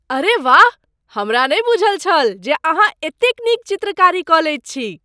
अरे वाह! हमरा नहि बूझल छल जे अहाँ एतेक नीक चित्रकारी कऽ लैत छी!